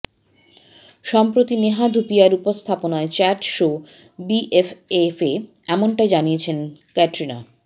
সম্প্রতি নেহা ধুপিয়ার উপস্থাপনায় চ্যাট শো বিএফএফে এমনটাই জানিয়েছেন ক্যাটরিনা